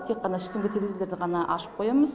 тек қана үстіңгі терезелерді ғана ашып қоямыз